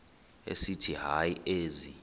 esithi hayi ezi